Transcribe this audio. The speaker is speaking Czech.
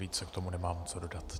Více k tomu nemám co dodat.